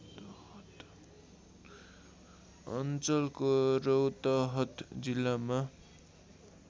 अञ्चलको रौतहट जिल्लामा